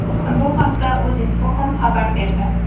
Bu haqda Uzinfocom xabar berdi .